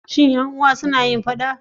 Shi 'yan uwa suna yin faɗa?